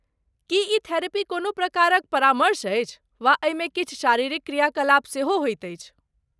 की ई थेरेपी कोनो प्रकारक परामर्श अछि, वा एहिमे किछु शारीरिक क्रियाकलाप सेहो होइत अछि?